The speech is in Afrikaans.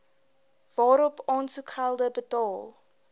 waarop aansoekgelde betaal